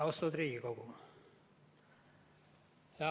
Austatud Riigikogu!